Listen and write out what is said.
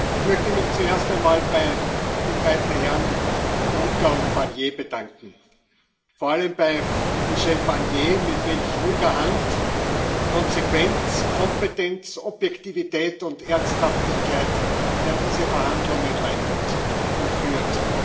Ich möchte mich zuerst einmal bei den beiden Herren Juncker und Barnier bedanken, vor allem bei Michel Barnier, mit welch ruhiger Hand, Konsequenz, Kompetenz, Objektivität und Ernsthaftigkeit er diese Verhandlungen leitet und führt.